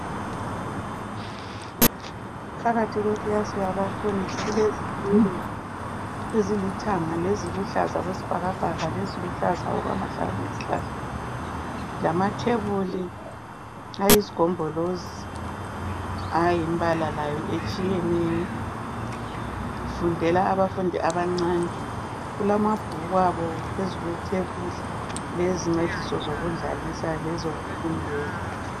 phakathi kwekilasi yabafundi kulezitulo ezilithanga leziluhlaza okwesibhakabhaka leziluhlaza okwamahlamvu esihlahla lamatebuli ayizigombolozi ayimbala layo etshiyeneyo kufundela abafundi abancane kulamabhuku abo phezu kwetebuli lezincediso zokudlalisa lezokufundela